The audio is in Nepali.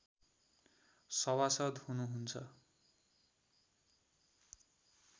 सभासद् हुनुहुन्छ